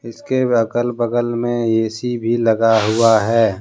इसके अगल बगल में ए_सी भी लगा हुआ हैं।